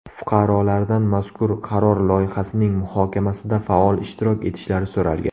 Fuqarolardan mazkur qaror loyihasining muhokamasida faol ishtirok etishlari so‘ralgan.